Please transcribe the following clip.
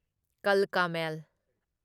ꯀꯜꯀꯥ ꯃꯦꯜ